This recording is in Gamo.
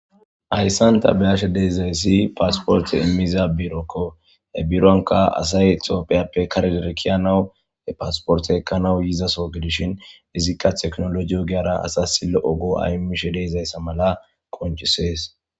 Haysan ta beyashe dizays passport imza biroko , he bironka asay tophiyappe kare ke'anaw he passport ekanaw gizaso gidishn izika tekinoloje ogiyara asas lo'o go'a imishe dizaysa mala qoncises